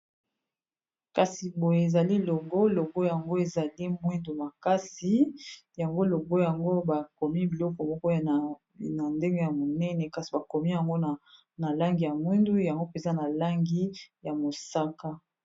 kasi boye ezali logo logo yango ezali mwindu makasi yango logo yango bakomi biloko mokoy na ndenge ya monene kasi bakomi yango na langi ya mwindu yango mpenza na langi ya mosaka